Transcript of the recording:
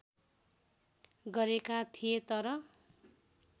गरेका थिए तर